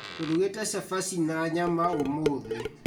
Tũrugĩte cabaci na nyama ũmũthĩ